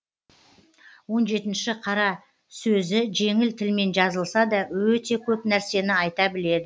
он жетінші қара сөзі жеңіл тілмен жазылса да өте көп нәрсені айта біледі